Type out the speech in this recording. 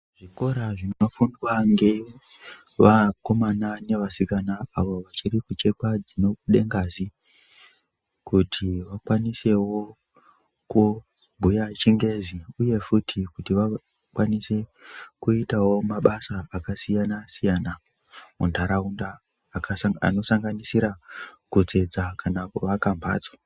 Zvikora zvinofundwa ngevakomana nevasikana avo vachirikuchekwa dzinobude ngazi. Kuti vakwanisevo kubhuya chingezi, uye futi kuti vakwanise kuita mabasa akasiyana-siyana muntaunda. Anosanganisira kutsetsa kana kuvaka mhatso.